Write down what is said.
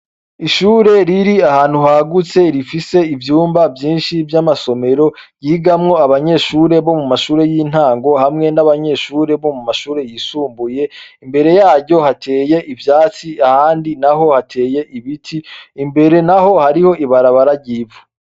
Ishure riri ahantu hagutse rifise ivyumba vyinshi vy'amasomero ryogamwo abanyeshure bomumashure y'intango hamwe n'abanyeshure biga mumashure yisumbuye. Imbere yaryo hateye ivyatsi ahandi naho hateye ibiti; imbere naho hariho ibarabara ry'ivu.